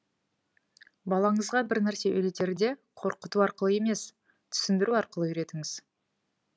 балаңызға бірнәрсе үйретерде қорқыту арқылы емес түсіндіру арқылы үйретіңіз